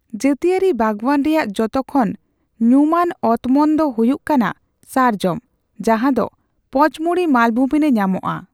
ᱡᱟᱹᱛᱤᱭᱟᱹᱨᱤ ᱵᱟᱜᱽᱣᱟᱱ ᱨᱮᱭᱟᱜ ᱡᱚᱛᱚᱠᱷᱚᱱ ᱧᱩᱢᱟᱱ ᱚᱛᱢᱚᱱ ᱫᱚ ᱦᱩᱭᱩᱜ ᱠᱟᱱᱟ ᱥᱟᱨᱡᱚᱢ ᱡᱟᱸᱦᱟ ᱫᱚ ᱯᱚᱪᱢᱚᱲᱤ ᱢᱟᱞᱵᱷᱩᱢᱤ ᱨᱮ ᱧᱟᱢᱚᱜᱼᱟ ᱾